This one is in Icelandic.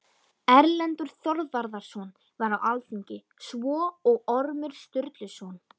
Erlendur Þorvarðarson var á alþingi, svo og Ormur Sturluson.